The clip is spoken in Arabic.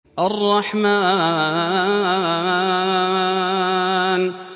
الرَّحْمَٰنُ